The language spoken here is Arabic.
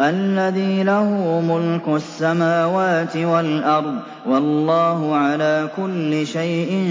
الَّذِي لَهُ مُلْكُ السَّمَاوَاتِ وَالْأَرْضِ ۚ وَاللَّهُ عَلَىٰ كُلِّ شَيْءٍ